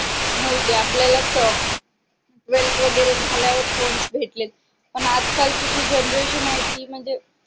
नव्हते आपल्याला असं twelfth वगैरे झाल्यावर फोन भेटलेत पण आजकालची जी generation आहे ती म्हणजे